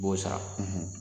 B'o sara